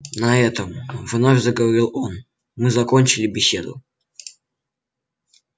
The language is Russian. на этом вновь заговорил он мы закончили беседу